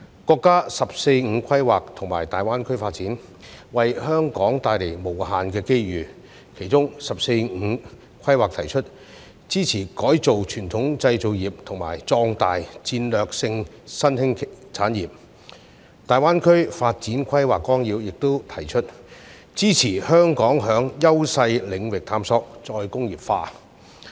國家"十四五"規劃及粵港澳大灣區發展為香港帶來無限機遇，其中"十四五"規劃提出"支持改造傳統製造業"及"發展壯大戰略性新興產業"，而《粵港澳大灣區發展規劃綱要》亦提出"支持香港在優勢領域探索再工業化"。